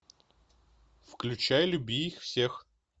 включай люби их всех